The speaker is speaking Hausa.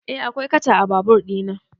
Eh akwai katcha a babur ɗina